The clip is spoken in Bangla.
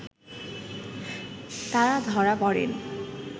তারা ধরা পড়েন